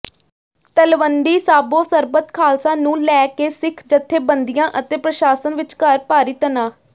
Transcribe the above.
ਤਲਵੰਡੀ ਸਾਬੋ ਸਰਬੱਤ ਖਾਲਸਾ ਨੂੰ ਲੈ ਕੇ ਸਿੱਖ ਜਥੇਬੰਦੀਆਂ ਅਤੇ ਪ੍ਰਸ਼ਾਸ਼ਨ ਵਿਚਕਾਰ ਭਾਰੀ ਤਣਾਅ